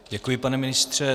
Děkuji, pane ministře.